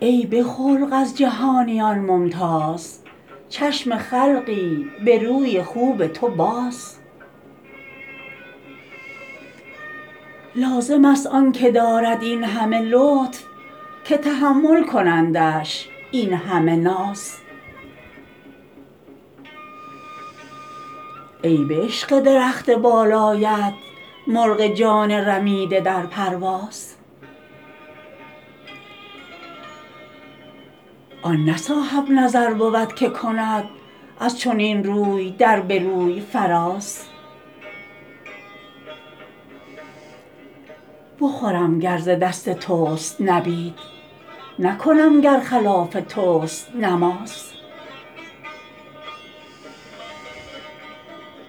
ای به خلق از جهانیان ممتاز چشم خلقی به روی خوب تو باز لازم است آن که دارد این همه لطف که تحمل کنندش این همه ناز ای به عشق درخت بالایت مرغ جان رمیده در پرواز آن نه صاحب نظر بود که کند از چنین روی در به روی فراز بخورم گر ز دست توست نبید نکنم گر خلاف توست نماز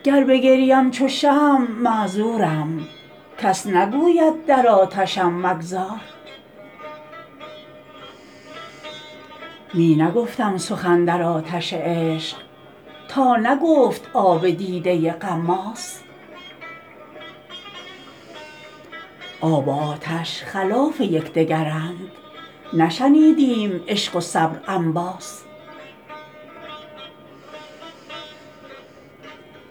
گر بگریم چو شمع معذورم کس نگوید در آتشم مگداز می نگفتم سخن در آتش عشق تا نگفت آب دیده غماز آب و آتش خلاف یک دگرند نشنیدیم عشق و صبر انباز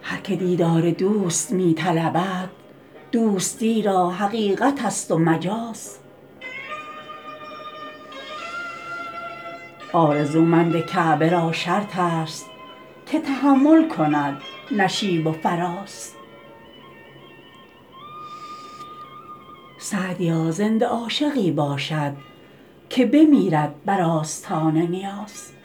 هر که دیدار دوست می طلبد دوستی را حقیقت است و مجاز آرزومند کعبه را شرط است که تحمل کند نشیب و فراز سعدیا زنده عاشقی باشد که بمیرد بر آستان نیاز